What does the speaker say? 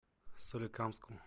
соликамску